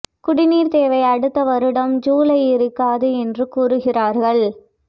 குடிநீர் தேவை அடுத்த வருடம் ஜூலை இருக்காது என்று கூறுகிறார்கள்